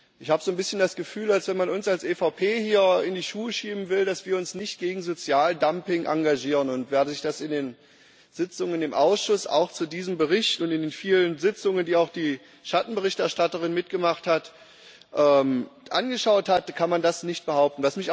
Ich habe so ein bisschen das Gefühl, dass man uns als EVP hier in die Schuhe schieben will, dass wir uns nicht gegen Sozialdumping engagieren. Wer sich das in den Sitzungen im Ausschuss, auch zu diesem Bericht, und in den vielen Sitzungen, die auch die Schattenberichterstatterin mitgemacht hat, angeschaut hat, kann das nicht behaupten.